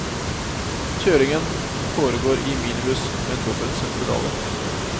Kjøringen foregår i minibuss med dobbelt sett pedaler.